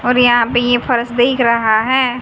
और यहां पे ये फर्श दिख रहा रहा है।